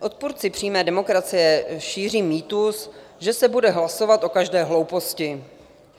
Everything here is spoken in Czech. Odpůrci přímé demokracie šíří mýtus, že se bude hlasovat o každé hlouposti.